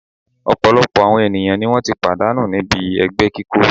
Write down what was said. Ọ̀̀pọ̀lọpọ̀ àwọn ènìyàn ni wọ́n ti pàdánù níbi ẹgbẹ́ kíkó